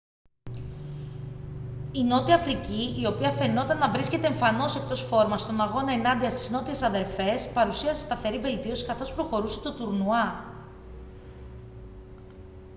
η νότια αφρική η οποία φαινόταν να βρίσκεται εμφανώς εκτός φόρμας στον αγώνα ενάντια στις νότιες αδερφές παρουσίασε σταθερή βελτίωση καθώς προχωρούσε το τουρνουά